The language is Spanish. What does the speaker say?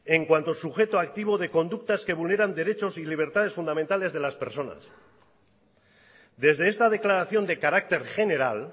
en cuanto sujeto activo de conductas que vulneran derechos y libertades fundamentales de las personas desde esta declaración de carácter general